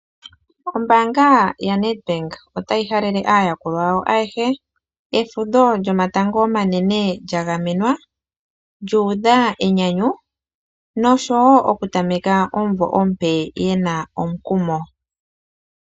Ombaanga yaNedbank otayi halele aayakulwa yawo ayehe, efudho lyomatango omanene lya gamenwa, lyu udha enyanyu noshowo okutameka omumvo omupe ye na omukumo.